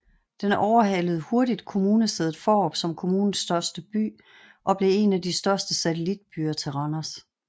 Den overhalede hurtigt kommunesædet Fårup som kommunens største by og blev en af de største satellitbyer til Randers